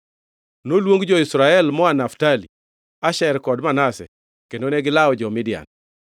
Noluong jo-Israel moa Naftali, Asher kod Manase, kendo negilawo jo-Midian.